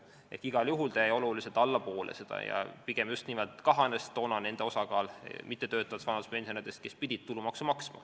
Igal juhul jäi ta allapoole seda ja pigem just nimelt kahanes toona nende mittetöötavate vanaduspensionäride hulk, kes pidid tulumaksu maksma.